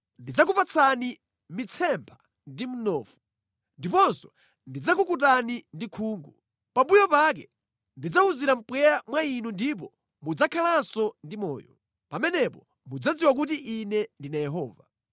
Ndidzakupatsani mitsempha ndi mnofu. Ndiponso ndidzakukutani ndi khungu. Pambuyo pake ndidzawuzira mpweya mwa inu ndipo mudzakhalanso ndi moyo. Pamenepo mudzadziwa kuti Ine ndine Yehova.”